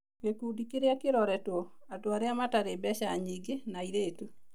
Gĩkundi kĩrĩa kĩroretwo: Andũ arĩa matarĩ mbeca nyingĩ na airĩtu